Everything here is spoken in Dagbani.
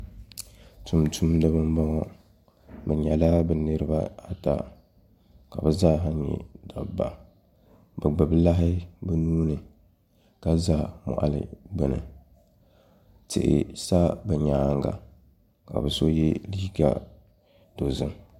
Tumtumdiba n boŋo bi nyɛla bi niraba ata ka bi zaa ha nyɛ dabba bi gbubi lahi bi nuuni ka za moɣali duli tihi sa bi nyaanga ka bi so yɛ liiga dozim